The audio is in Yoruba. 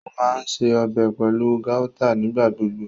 O maa ǹṣe ọbẹ pẹlu gauta nigbagbogbo.